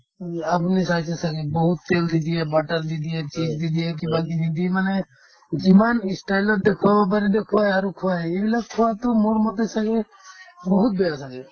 উম, আপুনি চাইছে ছাগে বহুত তেল যে দিয়ে butter যে দিয়ে cheese দিয়ে যে দিয়ে কিবাকিবি দি মানে যিমান ই style ত দেখুৱাব পাৰি দেখুৱাই আৰু খোৱাই এইবিলাক খোৱাতো মোৰ মতে ছাগে বহুত বেয়া ছাগে